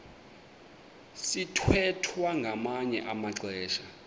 sithwethwa ngamanye amaxesha